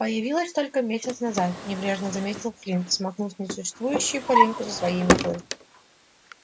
появилась только месяц назад небрежно заметил флинт смахнув несуществующую пылинку со своей метлы